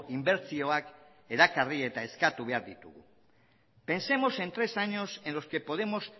inbertsioak erakarri eta eskatu behar ditugu pensemos en tres años en los que podemos